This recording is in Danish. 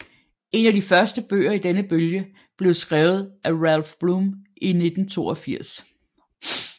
En af de første bøger i denne bølge blev skrevet af Ralph Blum i 1982